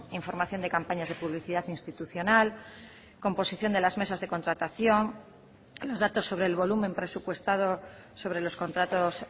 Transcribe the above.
información de campañas de publicidad institucional composición de las mesas de contratación los datos sobre el volumen presupuestado sobre los contratos